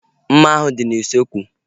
Mma ahu dị n'usekwu